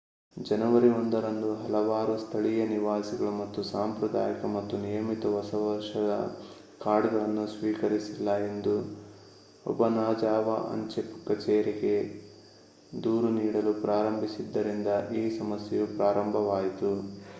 ಜನವರಿ 1 ರಂದು ಹಲವಾರು ಸ್ಥಳೀಯ ನಿವಾಸಿಗಳು ತಮ್ಮ ಸಾಂಪ್ರದಾಯಿಕ ಮತ್ತು ನಿಯಮಿತ ಹೊಸ ವರ್ಷದ ಕಾರ್ಡ್‌ಗಳನ್ನು ಸ್ವೀಕರಿಸಿಲ್ಲ ಎಂದು ಒಬನಾಜಾವಾ ಅಂಚೆ ಕಚೇರಿಗೆ ದೂರು ನೀಡಲು ಪ್ರಾರಂಭಿಸಿದ್ದರಿಂದ ಈ ಸಮಸ್ಯೆಯು ಪ್ರಾರಂಭವಾಯಿತು